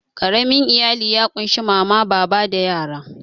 Ƙaramin iyali ya ƙunshi mama, baba da yara.